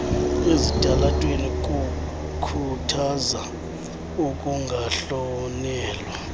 ezitalatweni kukhuthaza ukungahlonelwa